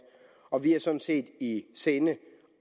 og vi har sådan set også i sinde